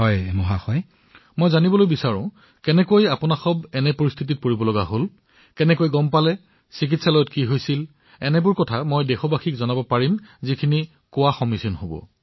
মই আপোনাৰ পৰা নিশ্চিতভাৱে জানিব বিচাৰিম যে আপুনি এই সমস্যা সংক্ৰমণৰ বিষয়ে কিদৰে জানিব পাৰিলে কি হল চিকিৎসালয়ত কি হল যাতে আপোনাৰ কথাৰ পৰা গুৰুত্বপূৰ্ণ কথাখিনি আমাৰ উপযোগী হয়